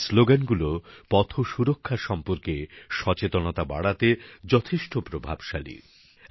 এই শ্লোগানগুলো পথ সুরক্ষা সম্পর্কে সচেতনতা বাড়াতে যথেষ্ট প্রভাবশালী